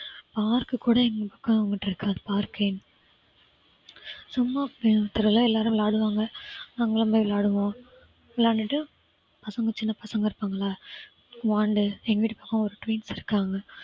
park கூட எங்க பக்கம் அங்குட்டு இருக்காது park ஏ. சும்மா எல்லாரும் விளையாடுவாங்க நாங்களும் போயி விளையாடுவோம், விளையாண்டுட்டு பசங்க சின்ன பசங்க இருப்பாங்களா வாண்டு எங்க வீட்டு பக்கம் ஒரு twins இருக்காங்க